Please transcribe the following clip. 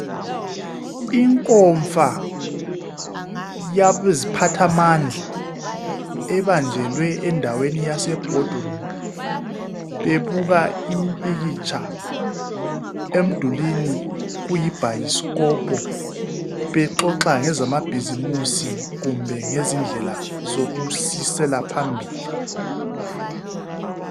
inkonfa yabeziphathamandla ebanjelwe endaweni yase bhodi room bebuka imimpikitsha emdulweni kuyi bhayisikopo bexoxa ngezama bhizimusi kumbe ngezindlela zokusisela phambili